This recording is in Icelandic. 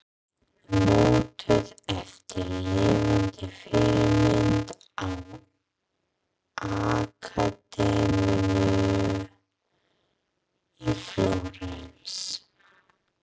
Mótuð eftir lifandi fyrirmynd á Akademíunni í Flórens.